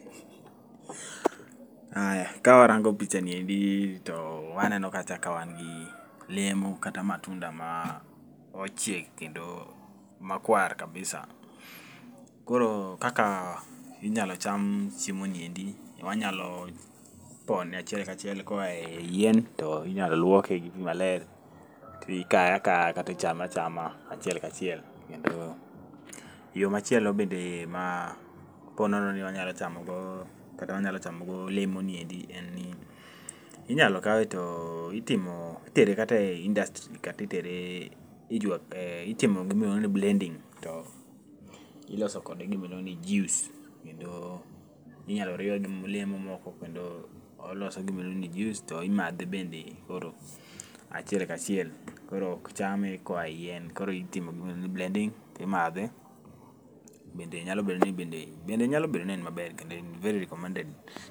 Aya kawarango pichaniendi, to waneno kacha ka wangi lemo kata matunda ma ochiek kendo makuar kabisa. Koro kaka inyalo cham chiemo niendi, wanyalo pone achiel kachiel koaye yien, to inyalo luoke gi pii maler, tikae akaya kata ichame achama achiel kachiel. Kendo yo machielo bende ma po nono ni wanyalo chamogo kata wanyalo chamogo olemo niendi en, inyalo kawe to timo itere kata industry kata itere itimo gimoro ni blending to iloso kode gimoroni juice. Kendo inyalo riwe gi lemo moko kendo oloso gimoro ni juice to imadhe bende koro achiel kachie.l Koro okchame koaye yien, koro itimo gimoro ni blending timadhe. Bende nyalo bendo ni bende en maber kendo en very recommended.